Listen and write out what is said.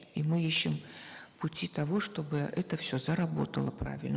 и мы ищем пути того чтобы это все заработало правильно